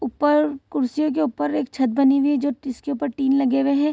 ऊपर कुर्सियों के ऊपर एक छत बनी हुई है जो जिसके ऊपर टीन लगे हुए हैं।